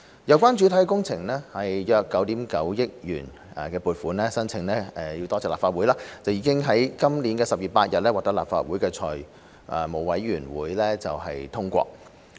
有關主體工程的約9億 9,000 萬元撥款申請——多謝立法會——已經於今年10月8日獲得立法會財務委員會通過。